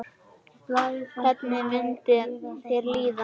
Hvernig myndi þér líða?